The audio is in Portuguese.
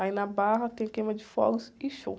Aí na Barra tem queima de fogos e show.